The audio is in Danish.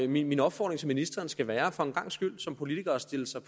min opfordring til ministeren skal være for en gangs skyld som politiker at stille sig